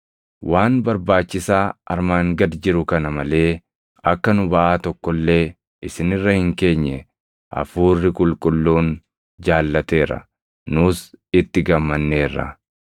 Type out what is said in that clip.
Waan barbaachisaa armaan gad jiru kana malee akka nu baʼaa tokko illee isin irra hin keenye Hafuurri Qulqulluun jaallateera; nus itti gammanneerra;